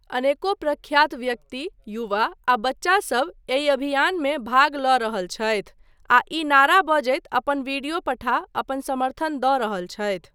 अनेको प्रख्यात व्यक्ति, युवा आ बच्चा सब एहि अभियानमे भाग लऽ रहल छथि आ ई नारा बजैत अपन वीडियो पठा अपन समर्थन दऽ रहल छथि।